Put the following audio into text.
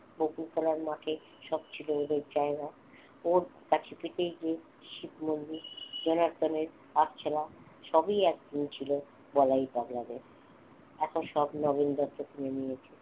পুকুর খেলার মাঠে সব ছিল ওদের জায়গা ওর কাছে পিঠেই যে যে শিব মন্দির জনার্দনের আগছোলা সবই একদিন ছিল বলাই পাগলাদের এখন সব নগেন দত্ত কিনে নিয়েছে।